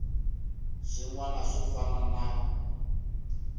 swin wana swo fana na